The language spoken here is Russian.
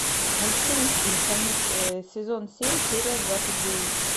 мультфильм симпсоны сезон семь серия двадцать девять